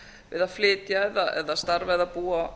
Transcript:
eða flytja eða starfa eða búa